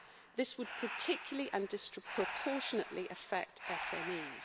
This would particularly and disproportionately affect SMEs.